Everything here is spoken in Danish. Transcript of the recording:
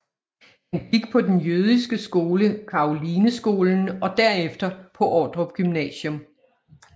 Han gik på den jødiske skole Carolineskolen og derefter på Ordrup Gymnasium